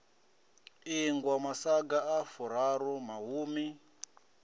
ingwa masaga a furaru mahumi